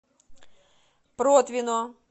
протвино